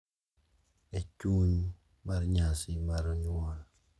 E chuny mar nyasi mar nyuol,